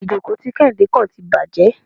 Ìjókò tí Kéhìndé kàn tí bàjé.